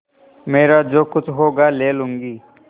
मेरा जो कुछ होगा ले लूँगी